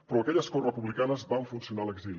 però aquelles corts republicanes van funcionar a l’exili